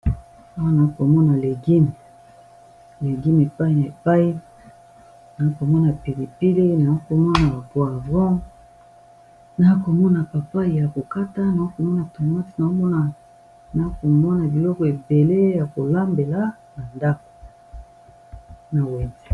awana legime epaine ya epaine naa komona pilipili naa komona bapor avan naakomona papai ya kokata naakomona thomas nnakomona biloko ebele ya kolambela na ndako na wende